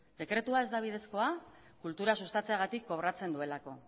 dekretua ez da bidezkoa kultura sustatzeagatik kobratzen duelako